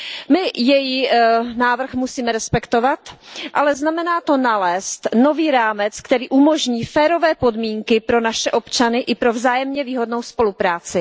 My její návrh musíme respektovat, ale znamená to nalézt nový rámec, který umožní férové podmínky pro naše občany i pro vzájemně výhodnou spolupráci.